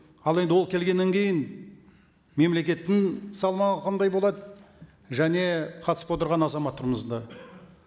ал енді ол келгеннен кейін мемлекеттің салмағы қандай болады және қатысып отырған азаматтарымыздың да